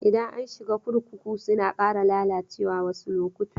Idan an shiga kurkuku suna ƙara lalacewa wasu lokuta.